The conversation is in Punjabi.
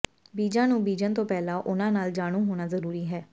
ਬੀਜਾਂ ਨੂੰ ਬੀਜਣ ਤੋਂ ਪਹਿਲਾਂ ਉਨ੍ਹਾਂ ਨਾਲ ਜਾਣੂ ਹੋਣਾ ਜ਼ਰੂਰੀ ਹੈ